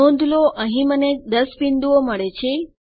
નોંધ લો અહીં મને 10 બિંદુઓ મળે છે